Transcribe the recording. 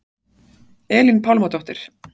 Elín Pálmadóttir